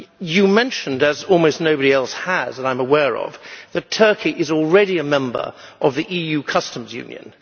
You mentioned as almost nobody else has, that I am aware of that Turkey is already a member of the EU customs union.